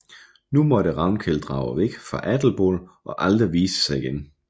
Nu måtte Ravnkel drage væk fra Adelból og aldrig vise sig igen